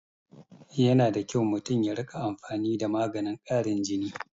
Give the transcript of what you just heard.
Yana da kyau mutum ya rika amfani da maganin karin jin